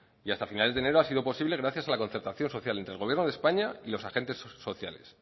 y hasta finales de enero ha sido posible gracias a la concertación social entre el gobierno de españa y los agentes sociales